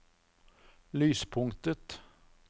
lyspunktet